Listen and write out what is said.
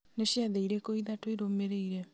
nĩ ciathĩ irĩkũ ithatũ irũmĩrĩire